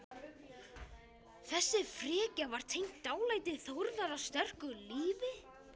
Þessi frekja var tengd dálæti Þórðar á sterku lífi.